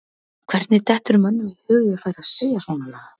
Hvernig dettur mönnum í hug að ég færi að segja svona lagað?